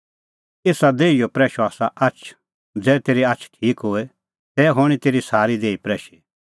एसा देहीओ प्रैशअ आसा आछ ज़ै तेरी आछ ठीक होए तै हणीं तेरी सारी देही प्रैशी